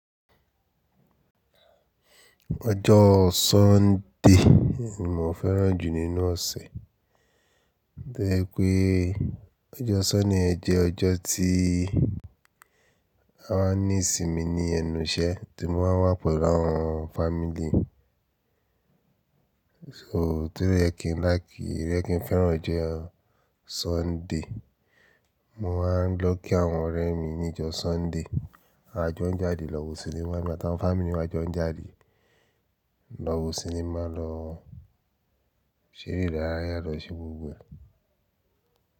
Ọjọ́ Sunday ni mo fẹ́ràn jù nínú ọ̀sẹ̀. Bẹ́ẹ̀ pé ọjọ́ Sunday jẹ́ ọjọ́ tí a ní ìsinmi ní ẹnu iṣẹ́ tí mo máa ń wà pẹ̀lú àwọn fámílì. So to rí ẹ kí n láì kí rí ẹ kí n fẹ́ràn jo Sunday. Mo máa ń lọ kí àwọn ọ̀rẹ́ mi ní ọjọ́ Sunday. A jọ ń jáde lọ sí sinimá, emi atawon fámílì mi a jọ ń jáde lọ wo sinimá, lọ ṣeré idaraya, lọ ṣe gbogbo ẹ̀.